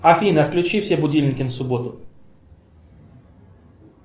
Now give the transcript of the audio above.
афина включи все будильники на субботу